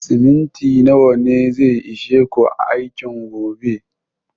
Siminti nawa ne zai ishe ku aikin gobe?